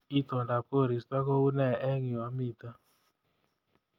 Itondap koristo koune eng yu amite